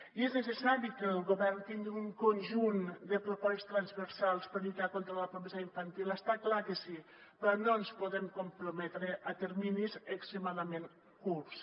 i és necessari que el govern tingui un conjunt de propòsits transversals per a lluitar contra la pobresa infantil està clar que sí però no ens podem comprometre a terminis extremadament curts